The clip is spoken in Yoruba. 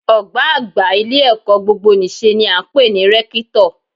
Ọ̀gbá àgbà ilé-ẹ̀kọ́ gbogbonìṣe ni à ń pè ní rẹ́kítọ̀